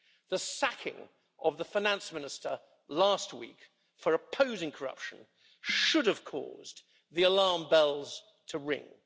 The sacking of the finance minister last week for opposing corruption should have caused the alarm bells to ring.